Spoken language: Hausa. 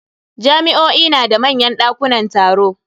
Jami'o'i na da manyan dakunan taro.